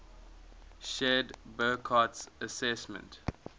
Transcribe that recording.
shared burckhardt's assessment